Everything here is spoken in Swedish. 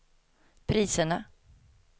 priserna